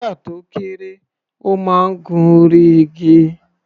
Nígbà tó kéré, ó máa ń gun orí igi.